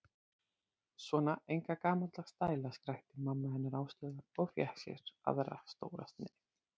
Svona enga gamaldags stæla skrækti mamma hennar Áslaugar og fékk sér aðra stóra sneið.